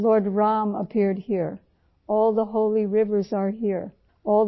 بھگوان شیو نے یہاں اوتار لیا ، بھگوان رام یہاں آئے